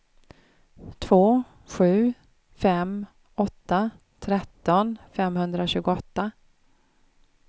två sju fem åtta tretton femhundratjugoåtta